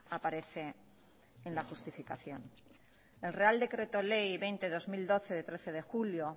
aparece en la justificación el real decreto ley veinte barra dos mil doce de trece de julio